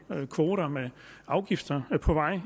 vej kvoter med afgifter